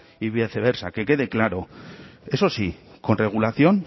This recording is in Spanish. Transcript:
y viceversa que quede claro eso sí con regulación